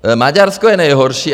Maďarsko je nejhorší.